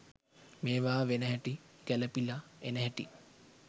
මේවා වෙන හැටි ගැලපිලා එන හැටි